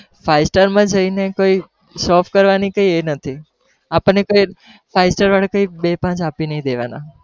five star માં જઈ ને કોઈ show off કરવાનું કઈ એ નથી, આપણને કઈ five star વાળા કઈ બે-પાંચ આપણને બે પાંચ આપી નહિ દેવાના